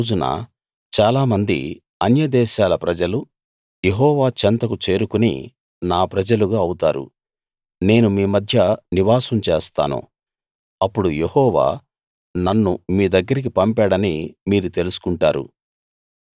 ఆ రోజున చాలామంది అన్య దేశాల ప్రజలు యెహోవా చెంతకు చేరుకుని నా ప్రజలుగా అవుతారు నేను మీ మధ్య నివాసం చేస్తాను అప్పుడు యెహోవా నన్ను మీ దగ్గరికి పంపాడని మీరు తెలుసుకుంటారు